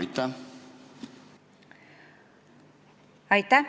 Aitäh!